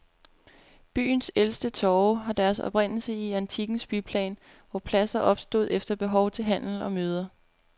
Byens ældste torve har deres oprindelse i antikkens byplan, hvor pladser opstod efter behov til handel og møder.